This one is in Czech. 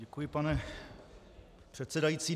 Děkuji, pane předsedající.